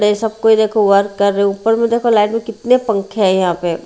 सब को देखो वर्क कर रहे हो ऊपर में देखो लाइन में कितने पंखे है यहां पे।